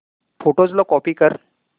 photos ला copy कर